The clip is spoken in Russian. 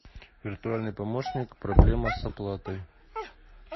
виртуальный помощник проблема с оплатой